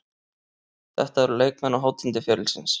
Þetta eru leikmenn á hátindi ferilsins.